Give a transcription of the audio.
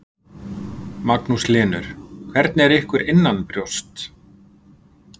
Magnús Hlynur: Og hvernig er ykkur innanbrjósts?